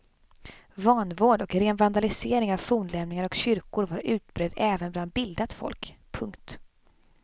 Vanvård och ren vandalisering av fornlämningar och kyrkor var utbredd även bland bildat folk. punkt